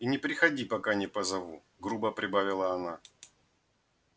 и не приходи пока не позову грубо прибавила она